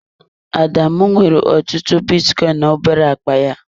Adamu nwere ọtụtụ bitcoin na obere akpa ya.